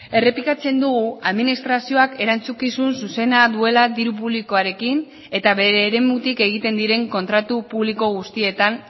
errepikatzen dugu administrazioak erantzukizun zuzena duela diru publikoarekin eta bere eremutik egiten diren kontratu publiko guztietan